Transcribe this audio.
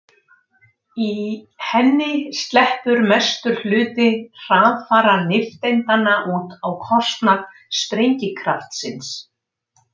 Í henni sleppur mestur hluti hraðfara nifteindanna út á kostnað sprengikraftsins.